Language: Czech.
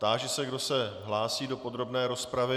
Táži se, kdo se hlásí do podrobné rozpravy.